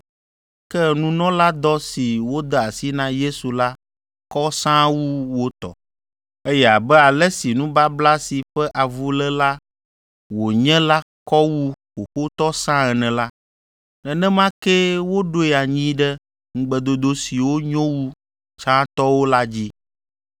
Ke nunɔladɔ si wode asi na Yesu la kɔ sãa wu wo tɔ, eye abe ale si nubabla si ƒe avuléla wònye la kɔ wu xoxotɔ sãa ene la, nenema kee woɖoe anyi ɖe ŋugbedodo siwo nyo wu tsãtɔwo la dzi.